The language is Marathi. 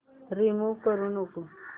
रिमूव्ह करू नको